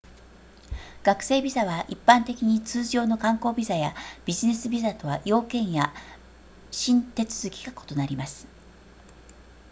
学生ビザは一般的に通常の観光ビザやビジネスビザとは要件や申手続きが異なります